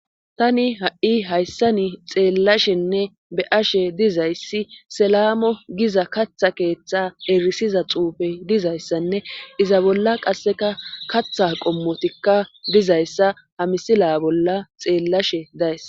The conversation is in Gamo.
tani ha7i hayssani xeellashenne be'ashe dizayssi selamo giza katha keeththa erisiza xuufe dizayssanne iza bolla qasseka katha qommotikka dizayssa hamisila bolla xeellashe days